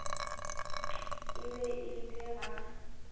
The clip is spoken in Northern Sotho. e be e le ga